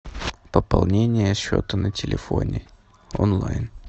пополнение счета на телефоне онлайн